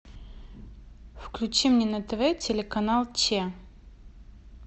включи мне на тв телеканал че